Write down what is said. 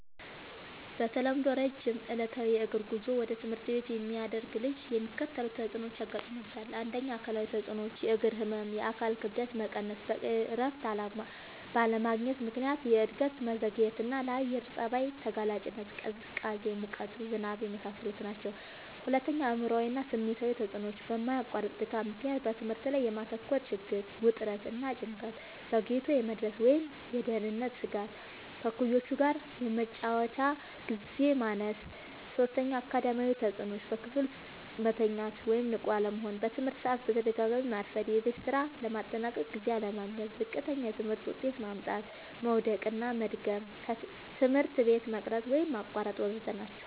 በተለምዶ ረጅም ዕለታዊ የእግር ጉዞ ወደ ትምህርት ቤት የሚያደርግ ልጅ የሚከተሉት ተጽዕኖዎች ያጋጥሙታል። ፩. አካላዊ ተጽዕኖዎች፦ · የእግር ህመም፣ የአካል ክብደት መቀነስ፣ በቂ እረፍት ባለማግኘት ምክንያት የእድገት መዘግየትና፣ ለአየር ጸባይ ተጋላጭነት (ቅዝቃዜ፣ ሙቀት፣ ዝናብ) የመሳሰሉት ናቸዉ። ፪. አእምሯዊ እና ስሜታዊ ተጽዕኖዎች፦ በማያቋርጥ ድካም ምክንያት በትምህርት ላይ የማተኮር ችግር፣ ውጥረት እና ጭንቀት፣ ዘግይቶ የመድረስ ወይም የደህንነት ስጋት፣ ከእኩዮች ጋር የመጫወቻ ግዜ ማነስ ናቸዉ። ፫. አካዳሚያዊ ተጽዕኖዎች፦ · በክፍል ውስጥ መተኛት ወይም ንቁ አለመሆን፣ በትምህርት ሰዓት በተደጋጋሚ ማርፈድ፣ የቤት ስራ ለማጠናቀቅ ጊዜ አለማግኘት፣ ዝቅተኛ የትምህርት ውጤት ማምጣት፣ መዉደቅና መድገም፣ ትምህርት ቤት መቅረት ወይም ማቋረጥ ወ.ዘ.ተ ናቸዉ።